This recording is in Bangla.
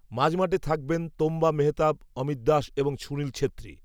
মাঝমাঠে থাকবেন তোম্বা মেহতাব অমিত দাস এবং সুনীল ছেত্রী